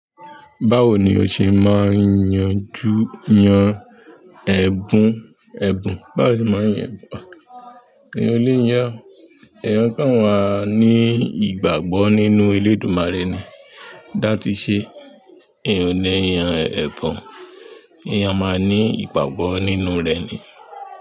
Báwo ni ó ṣe máa ń yanjú yan ẹ̀bùn ẹ̀bùn? Báwo ni o ṣe máa ń yan ẹ̀bùn? Eyan o le yàn, èèyàn kán ma ní ìgbàgbọ́ nínú elédùmarè ni. Dá ti ṣe, èèyàn lẹ́yàn ẹ̀bùn, èèyàn máa ní ìgbàgbọ́ nínú rẹ̀ ni.